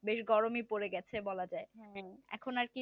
বেশ গরমে পড়ে গেছে বলা যায় এখন আর কি